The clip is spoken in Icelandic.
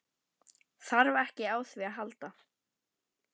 Þarf ekki á því að halda.